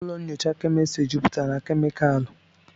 ụlọ nyocha kemịstri jupụtara na kemịkalụ